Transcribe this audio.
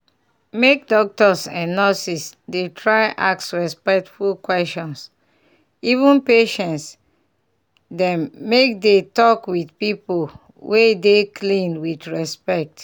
make doctors and nurses dey try ask respectful questions even patience dem make dey talk with pipu wey dey cleaan with respect.